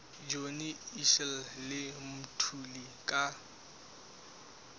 johnny issel le mthuli ka